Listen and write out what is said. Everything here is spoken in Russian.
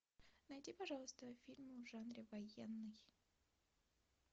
найди пожалуйста фильм в жанре военный